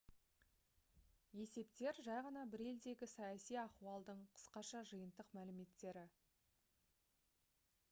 есептер жай ғана бір елдегі саяси ахуалдың қысқаша жиынтық мәліметтері